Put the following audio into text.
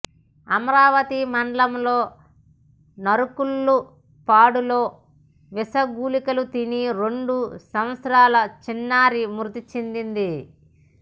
అమరావతి మండలం నరుకుళ్ళపాడులో విషగుళికలు తిని రెండు సంవత్సరాల చిన్నారి మృతి చెందింది